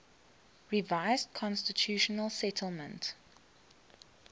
revised constitutional settlement